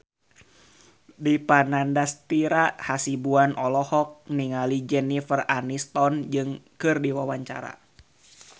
Dipa Nandastyra Hasibuan olohok ningali Jennifer Aniston keur diwawancara